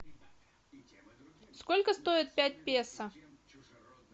сколько стоит пять песо